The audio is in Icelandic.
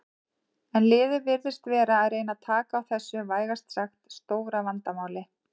En liðið virðist vera að reyna taka á þessu vægast sagt stóra vandamáli.